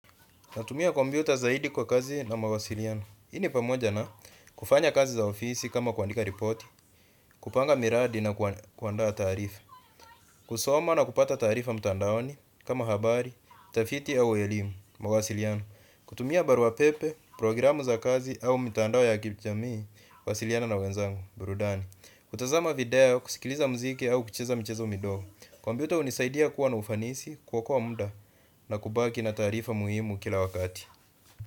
Natumia kompyuta zaidi kwa kazi na mawasiliano. Hii ni pamoja na kufanya kazi za ofisi kama kuandika ripoti, kupanga miradi na kuandaa taarifa. Kusoma na kupata taarifa mtandaoni kama habari, tafiti au elimu mawasiliano. Kutumia baruapepe, programu za kazi au mtandao ya kijamii kuwasiliana na wenzangu, burudani. Kutazama video, kusikiliza muziki au kucheza michezo midogo. Kompyuta hunisaidia kuwa na ufanisi kuokoa muda na kubaki na taarifa muhimu kila wakati.